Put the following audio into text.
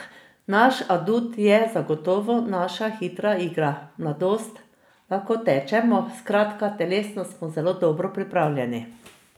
Naš adut je zagotovo naša hitra igra, mladost, lahko tečemo, skratka telesno smo zelo dobro pripravljeni.